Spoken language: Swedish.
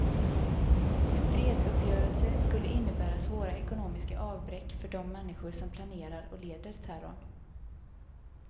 En fredsuppgörelse skulle innebära svåra ekonomiska avbräck för de människor som planerar och leder terrorn.